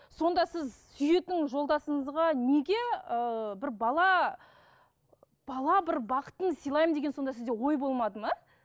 сонда сіз сүйетін жолдасыңызға неге ыыы бір бала бала бір бақытын сылаймын деген сонда сізде ой болмады ма